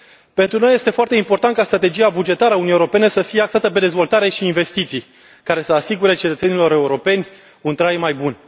Pentru noi, este foarte important ca strategia bugetară a Uniunii Europene să fie axată pe dezvoltare și investiții care să le asigure cetățenilor europeni un trai mai bun.